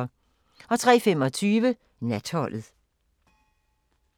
03:25: Natholdet